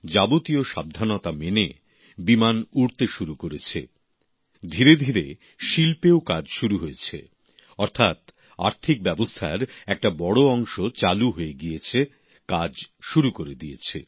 যাবতীয় সাবধানতা মেনে বিমান উড়তে শুরু করেছে ধীরে ধীরে শিল্পেও কাজ শুরু হয়েছে অর্থাৎ আর্থিক ব্যবস্থার একটা বড় অংশ চালু হয়ে গিয়েছে কাজ শুরু করে দিয়েছে